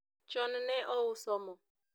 chon ne ouso mo